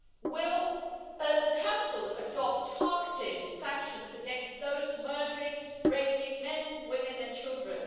Will the Council adopt targeted sanctions against those murdering and raping men, women and children?